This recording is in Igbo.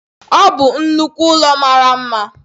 Ọ bụ nnukwu ụlọ mara mma